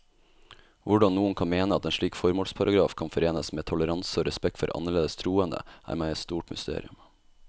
Hvordan noen kan mene at en slik formålsparagraf kan forenes med toleranse og respekt for annerledes troende, er meg et stort mysterium.